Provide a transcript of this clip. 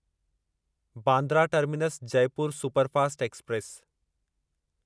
Bandra terminus Jaipur superfast express